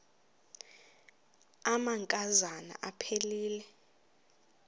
amanka zana aphilele